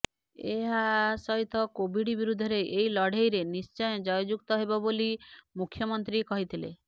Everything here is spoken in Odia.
ଏହାସହିତ କୋଭିଡ୍ ବିରୁଦ୍ଧରେ ଏହି ଲଢ଼େଇରେ ନିଶ୍ଚୟ ଜୟଯୁକ୍ତ ହେବା ବୋଲି ମୁଖ୍ୟମନ୍ତ୍ରୀ କହିଥିଲେ